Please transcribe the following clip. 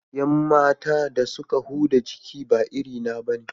Yan matan da suka huda jiki ba iri na bane